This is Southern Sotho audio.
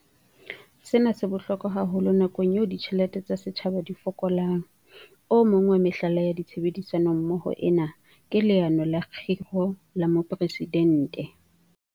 Sena se bohlokwa haholo nakong eo ditjhelete tsa setjhaba di fokolang. O mong wa mehlala ya tshebedisano mmoho ena ke Leano la Kgiro la Mopresidente.